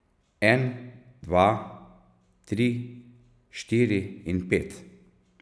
En, dva, tri, štiri in pet.